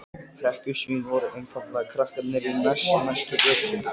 Síra Björn hélt áfram: Við trúum ekki þessum tíðindum.